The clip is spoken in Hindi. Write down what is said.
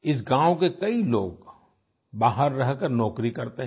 इस गांव के कई लोग बाहर रहकर नौकरी करते हैं